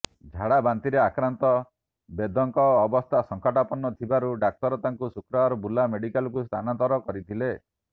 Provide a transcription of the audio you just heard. ଝାଡ଼ାବନ୍ତିରେ ଆକ୍ରାନ୍ତ ବେଦଙ୍କ ଅବସ୍ଥା ସଙ୍କଟାପନ୍ନ ଥିବାରୁ ଡାକ୍ତର ତାଙ୍କୁ ଶୁକ୍ରବାର ବୁର୍ଲା ମେଡ଼ିକାଲକୁ ସ୍ଥାନାନ୍ତର କରିଥିଲେ